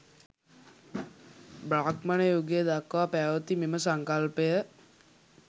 බ්‍රාහ්මණ යුගය දක්වා පැවැති මෙම සංකල්පය